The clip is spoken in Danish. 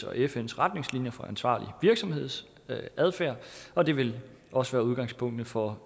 og fns retningslinjer for ansvarlig virksomhedsadfærd og det vil også være udgangspunktet for